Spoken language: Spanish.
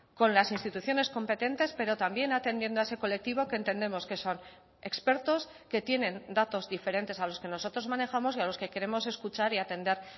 con las instituciones competentes pero también atendiendo a ese colectivo que entendemos que son expertos que tienen datos diferentes a los que nosotros manejamos y a los que queremos escuchar y atender